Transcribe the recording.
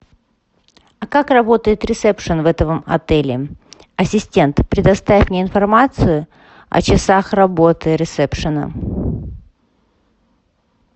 а как работает ресепшен в этом отеле ассистент предоставь мне информацию о часах работы ресепшена